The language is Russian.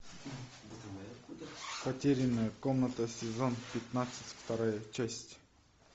потерянная комната сезон пятнадцать вторая часть